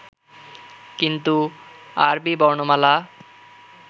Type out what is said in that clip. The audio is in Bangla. কিন্তু আরবী বর্ণমালা